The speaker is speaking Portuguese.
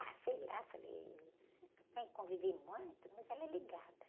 Ah, sei lá, falei, tem que conviver muito? Mas ela é ligada.